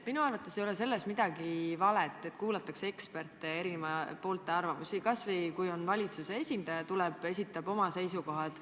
Minu arust pole vale, kui kuulatakse ekspertide ja eri poolte arvamusi, kas või valitsuse esindajat, kes tuleb ja esitab oma seisukohad.